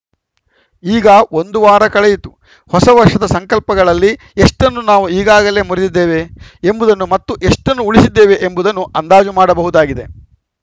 ಈಗ ಒಂದು ವಾರ ಕಳೆಯಿತು ಹೊಸ ವರ್ಷದ ಸಂಕಲ್ಪಗಳಲ್ಲಿ ಎಷ್ಟನ್ನು ನಾವು ಈಗಾಗಲೇ ಮುರಿದಿದ್ದೇವೆ ಎಂಬುದನ್ನು ಮತ್ತು ಎಷ್ಟನ್ನು ಉಳಿಸಿದ್ದೇವೆ ಎಂಬುದನ್ನು ಅಂದಾಜು ಮಾಡಬಹುದಾಗಿದೆ